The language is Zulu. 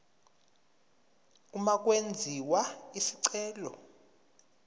uma kwenziwa isicelo